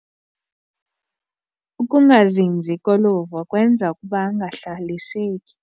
Ukungazinzi koluvo kwenza ukuba angahlaliseki.